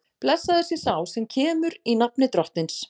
Blessaður sé sá sem kemur, í nafni Drottins!